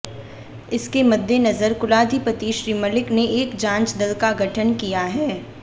इसके मद्देनजर कुलाधिपति श्री मलिक ने एक जांच दल का गठन किया है